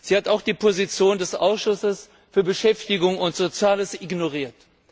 Sie hat auch die Position des Ausschusses für Beschäftigung und Soziales ignoriert.